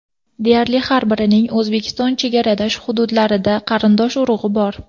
Deyarli har birining O‘zbekiston chegaradosh hududlarida qarindosh-urug‘i bor.